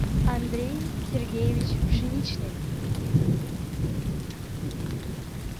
андрей сергеевич пшеничный